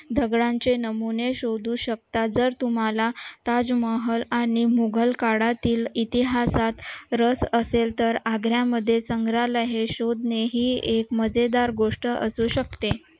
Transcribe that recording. दगडांची नमुने शोधू शकता जर तुम्हाला ताजमहल आणि मुघल काळातील इतिहासात रस असेल तर आग्र्यामध्ये संग्रहालय हे शोधणे ही एक मजेदार गोष्ट असू शकते